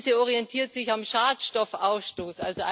Diese orientiert sich am Schadstoffausstoß.